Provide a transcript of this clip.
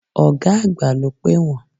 Ọ̀gá àgbà ló pè wọ́n.